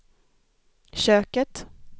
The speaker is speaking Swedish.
köket